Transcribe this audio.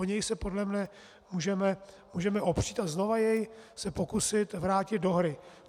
O něj se podle mne můžeme opřít a znova se jej pokusit vrátit do hry.